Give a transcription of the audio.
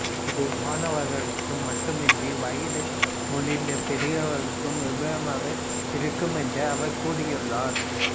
இது மாணவர்களுக்கு மட்டுமின்றி வயது முதிர்ந்த பெரியவர்களுக்கும் உபயோகமாக இருக்கும் என்று அவர் கூறியுள்ளார்